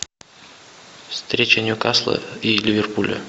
встреча ньюкасла и ливерпуля